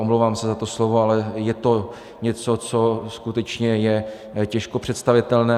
Omlouvám se za to slovo, ale je to něco, co skutečně je těžko představitelné.